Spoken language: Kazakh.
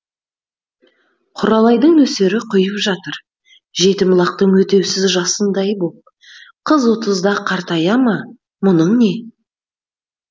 құралайдың нөсері құйып жатыр жетім лақтың өтеусіз жасындай боп қыз отызда қартая ма мұның не